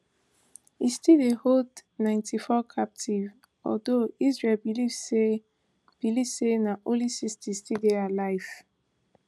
e still dey hold ninety-four captive although israel believe say believe say na only sixty still dey alive